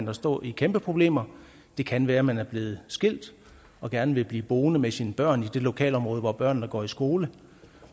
at stå i kæmpe problemer det kan være at man er blevet skilt og gerne vil blive boende med sine børn i det lokalområde hvor børnene går i skole